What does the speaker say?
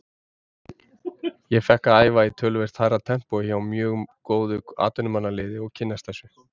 Ég fékk að æfa á töluvert hærra tempói hjá mjög góðu atvinnumannaliði og kynnast þessu.